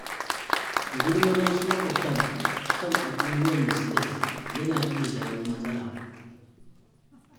Gulmar wasu maƙwabtan kan abubuwan da suka ji yana iya jawo matsala.